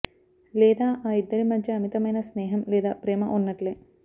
లేదా ఆ ఇద్దరి మధ్య అమితమైన స్నేహం లేదా ప్రేమ ఉన్నట్లే